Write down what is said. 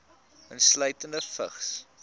insluitende vigs